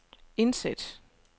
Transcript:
indsæt